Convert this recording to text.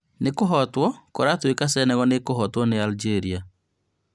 Nĩkũhotwo, kũratuĩka Senegal nĩkũhotwo nĩ Algeria